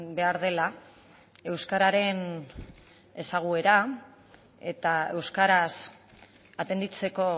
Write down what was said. behar dela euskararen ezaguera eta euskaraz atenditzeko